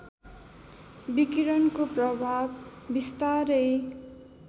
विकिरणको प्रभाव बिस्तारै